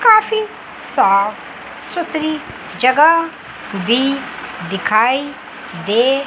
काफी साफ सुथरी जगह भी दिखाई दे--